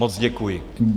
Moc děkuji.